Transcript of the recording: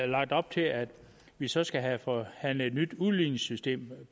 lagt op til at vi så skal have forhandlet et nyt udligningssystem